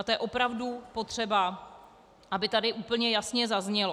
A to je opravdu potřeba, aby tady úplně jasně zaznělo.